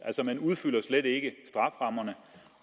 man udfylder altså slet ikke strafferammerne